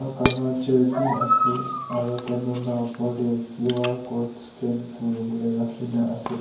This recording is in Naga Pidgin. kala chair bhi ase aru table lah upar teh Q_R code scan kuribole rakhi na ase.